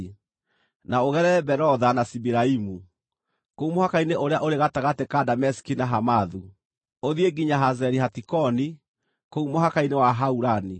na ũgerere Berotha na Sibiraimu (kũu mũhaka-inĩ ũrĩa ũrĩ gatagatĩ ka Dameski na Hamathu), ũthiĩ nginya Hazeri-Hatikoni, kũu mũhaka-inĩ wa Haurani.